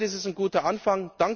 Derzeit ist es ein guter Anfang.